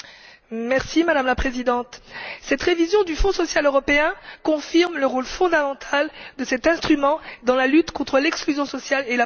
Madame la Présidente, cette révision du Fonds social européen confirme le rôle fondamental de cet instrument dans la lutte contre l'exclusion sociale et la pauvreté.